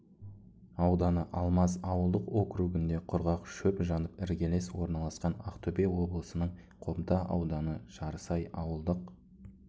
ауданы алмаз ауылдық округінде құрғақ шөп жанып іргелес орналасқан ақтөбе облысының қобда ауданы жарысай ауылдық